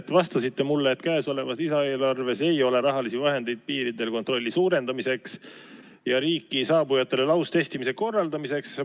Te vastasite mulle, et käesolevas lisaeelarves ei ole rahalisi vahendeid piiridel kontrolli suurendamiseks ja riiki saabujatele laustestimise korraldamiseks.